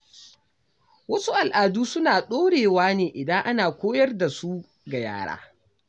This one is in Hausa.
Wasu al’adu suna ɗorewa ne idan ana koyar da su ga yara.